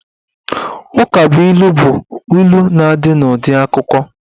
Ukabụilu bụ ilu na-adị n'ụdị akụkụ.